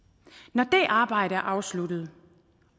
når det arbejde er afsluttet